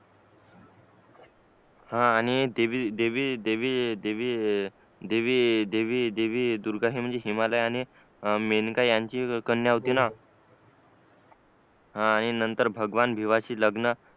हा आणि देवी दुर्गा हिने हिमालय मेनका ह्यांची कन्या होती ना आणि नांतर भगवान भीमा शी लग्न